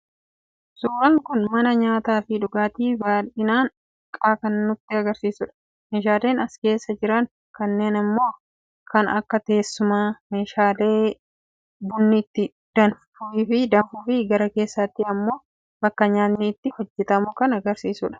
suuraan kun mana nyaataafi dhugaati bal'inaan xiqqaa kan nutti agarsiisu dha. meeshaaleen as keessa jiran kunniin immoo kan akka teessumaa, meeshaalee bunni itti danfuufi gara keessaatti immoo bakka nyaatni itti hojjetamu kan agarsiisudha.